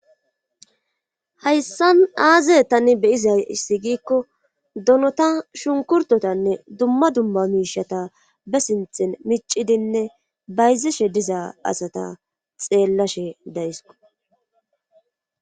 hayssan aaze tani be7izayssi giikko donota shunkurtotanne dumma dumma miishata be sinthin micidinne bayzishe diza asata xeellashe dayisko.